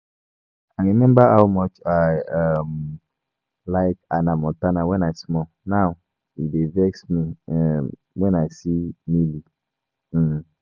I remember how much I um like Hanna Montana when I small, now e dey vex me um when I see Miley um